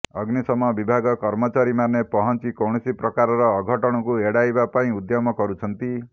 ଅଗ୍ନିଶମ ବିଭାଗ କର୍ମଚାରୀମାନେ ପହଞ୍ଚି କୌଣସି ପ୍ରକାର ଅଘଟଣକୁ ଏଡାଇବା ପାଇଁ ଉଦ୍ୟମ କରୁଛନ୍ତି